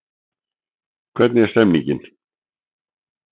Hvernig er stemningin?